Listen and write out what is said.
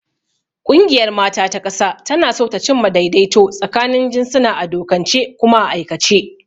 Ƙungiyar mata ta ƙasa tana so ta cimma daidaito tsakanin jinsuna a dokance kuma a aikace.